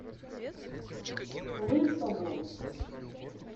лысову